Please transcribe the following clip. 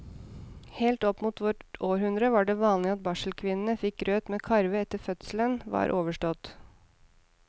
Helt opp mot vårt århundre var det vanlig at barselkvinnene fikk grøt med karve etter at fødselen var overstått.